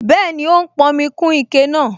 Bẹ́ẹ̀ni, ó ń pọnmi kún ike náà